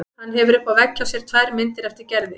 Hann hefur uppi á vegg hjá sér tvær myndir eftir Gerði.